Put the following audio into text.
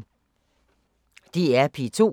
DR P2